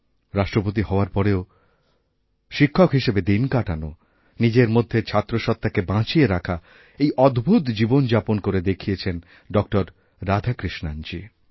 রাষ্ট্রপতি হওয়ার পরেও শিক্ষক হিসাবে দিন কাটানো নিজের মধ্যের ছাত্রসত্ত্বাকেবাঁচিয়ে রাখা এই অদ্ভূত জীবনযাপন করে দেখিয়েছেন ড রাধাকৃষ্ণণজী